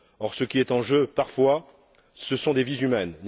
Or, ce qui est en jeu, parfois, ce sont des vies humaines.